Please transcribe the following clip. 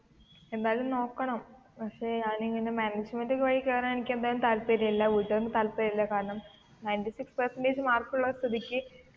എന്തായാലും നോക്കണം പക്ഷെ ഞാൻ ഇങ്ങനെ മാനേജ്മന്റ് വഴി കേറാൻ എനിക്ക് എന്തായാലും താല്പര്യം ഇല്ല വീട്ടുകാർക്കും താല്പര്യം ഇല്ല കാരണം നൈൻറ്റി സിക്സ് പെർസെന്റജ് മാർക്ക് ഉള്ള സ്ഥിതിക്ക്,